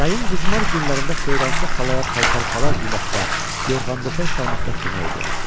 Yayın qızmar günlərində Xeyransa xalaya paltar-palaz yumaqda, yorğan-döşək salmaqda kömək eləyərdi.